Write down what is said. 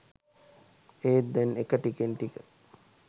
ඒත් දැන් එක ටිකෙන් ටික